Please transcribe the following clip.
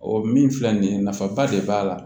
O min filɛ nin ye nafaba de b'a la